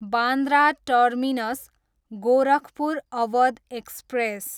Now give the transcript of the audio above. Bandra terminus, Gorakhpur Awadh express